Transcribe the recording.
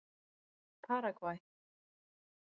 Paragvæ